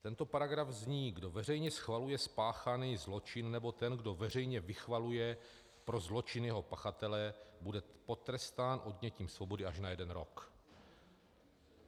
Tento paragraf zní: Kdo veřejně schvaluje spáchaný zločin, nebo ten, kdo veřejně vychvaluje pro zločin jeho pachatele, bude potrestán odnětím svobody až na jeden rok.